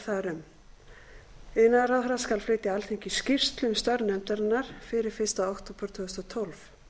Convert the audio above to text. þar um iðnaðarráðherra skal flytja alþingi skýrslu um störf nefndarinnar fyrir fyrsta október tvö þúsund og tólf